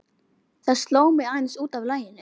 Það sló mig aðeins út af laginu.